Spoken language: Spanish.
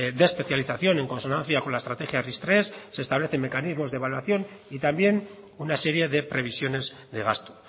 de especialización en consonancia con la estrategia ris tres se establecen mecanismos de evaluación y también una serie de previsiones de gasto